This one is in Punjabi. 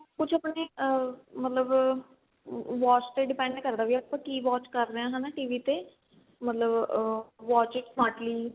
ਕੁੱਝ ਆਪਣੀ ਆ ਮਤਲਬ watch ਤੇ depend ਕਰਦਾ ਕੀ ਆਪਾਂ ਕੀ watch ਕਰ ਰਹੇ ਆ ਹਨਾ TV ਤੇ ਮਤਲਬ ਆ watch it smartly